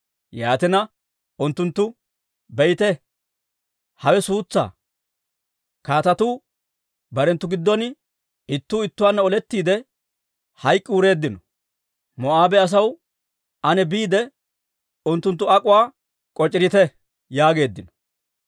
Yaatina unttunttu, «Be'ite, hawe suutsaa! Kaatetu barenttu giddon ittuu ittuwaanna olettiide, hayk'k'i wureeddino. Moo'aabe asaw, ane biide, unttuntta ak'uwaa k'oc'ireetto» yaageeddino.